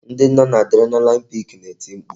Ndị nọ n'Adrenaline pik na-eti mkpu